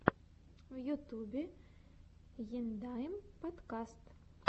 в ютюбе ендайм подкаст